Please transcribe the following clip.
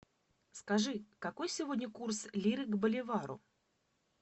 скажи какой сегодня курс лиры к боливару